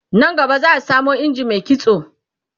nan gaba za'a samo injin Mai kitso